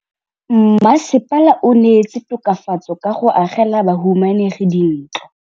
Mmasepala o neetse tokafatsô ka go agela bahumanegi dintlo.